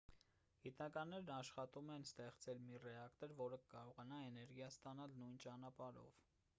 գիտնականներն աշխատում են ստեղծել մի ռեակտոր որը կկարողանա էներգիա ստանալ նույն ճանապարհով